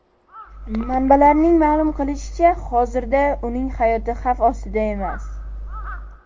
Manbalarning ma’lum qilishicha, hozirda uning hayoti xavf ostida emas.